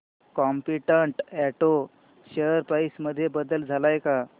competent auto share price मध्ये बदल आलाय का